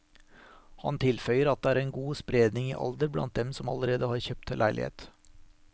Han tilføyer at det er en god spredning i alder blant dem som allerede har kjøpt leilighet.